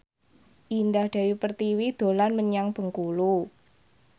Indah Dewi Pertiwi dolan menyang Bengkulu